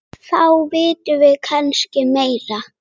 Þá vitum við kannski meira.